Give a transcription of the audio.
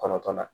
Kɔnɔntɔn na